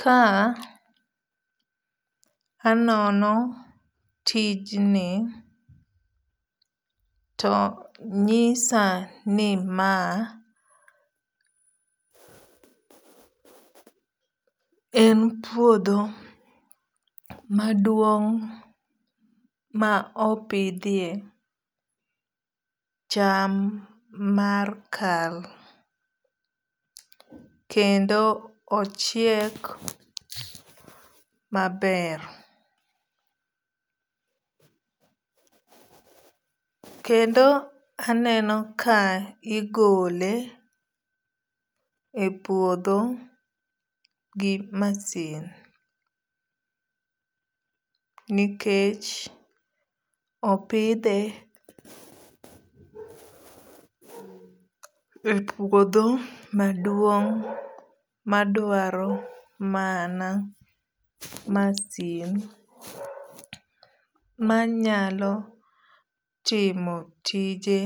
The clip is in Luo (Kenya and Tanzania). Ka anono tijni to nyisa ni ma en puodho maduong' ma opidhie cham mar kal. Kendo ochiek maber. Kendo aneno ka igole e puodho gi masin. Nikech opidhe e puodho maduong' maduaro mana masin manyalo timo tije